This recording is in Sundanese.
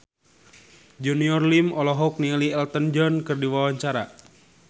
Junior Liem olohok ningali Elton John keur diwawancara